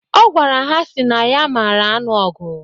Ọ gwara ha sị na ya mara anụ ọgụ.